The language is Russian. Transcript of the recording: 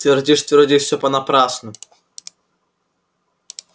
твердишь твердишь всё понапрасну